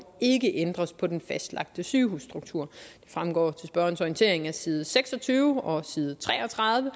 ikke ændres på den fastlagte sygehusstruktur det fremgår til spørgerens orientering af side seks og tyve og side tre og tredive